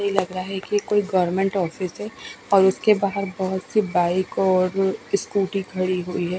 यह लग रहा है की कोई गवर्नमेंट ऑफिस है और उसके बहार बोहोत से बाइक और स्कूटी खड़ी हुई है।